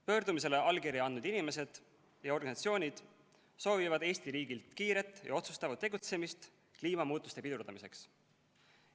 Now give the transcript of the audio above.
Pöördumisele allkirja andnud inimesed ja organisatsioonid soovivad Eesti riigilt kiiret ja otsustavat tegutsemist kliimamuutuste pidurdamiseks.